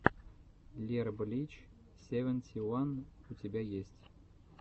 лерблич севенти уан у тебя есть